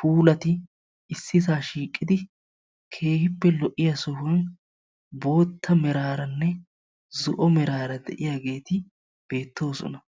puulati issisaa shiiqidi keehippe lo'iya sohuwan bootta meraaranne zo'o meraara de'iyageeti beettoosona.